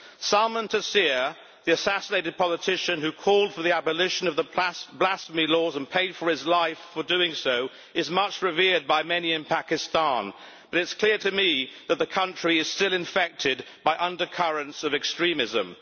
Salman Taseer, the assassinated politician who called for the abolition of the blasphemy laws and paid with his life for doing so, is much revered by many in Pakistan, but it is clear to me that the country is still infected by undercurrents of extremism.